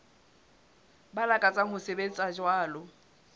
ba lakatsang ho sebetsa jwalo